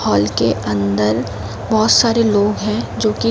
hall के अंदर बहौत सारे लोग हैं जोकि --